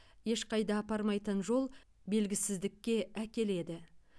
ешқайда апармайтын жол белгісіздікке әкеледі